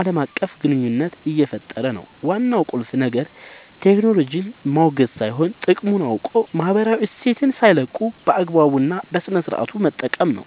ዓለም አቀፍ ግንኙነት እየፈጠረ ነው። ዋናው ቁልፍ ነገር ቴክኖሎጂን ማውገዝ ሳይሆን፣ ጥቅሙን አውቆ ማህበራዊ እሴትን ሳይለቁ በአግባቡ እና በስነሥርዓት መጠቀም ነው።